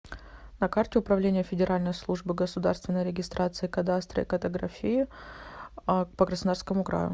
на карте управление федеральной службы государственной регистрации кадастра и картографии по краснодарскому краю